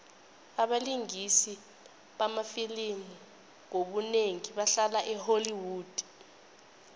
abalingisi bamafilimu ngobunengi bahlala e holly wood